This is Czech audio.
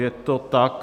Je to tak.